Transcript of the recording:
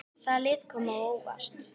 Hvaða lið koma á óvart?